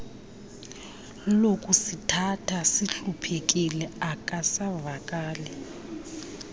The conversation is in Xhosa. lokusithatha sihluphekile akusavakali